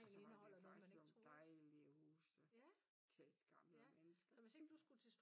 Og så har de jo faktisk sådan dejlige huse til et gammelt menneske som mig